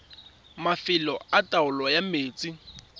mafelo a taolo ya metsi